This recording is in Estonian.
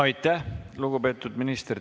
Aitäh, lugupeetud minister!